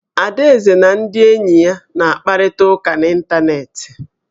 Adaeze na ndị enyi ya na-akparịta ụka n'ịntanetị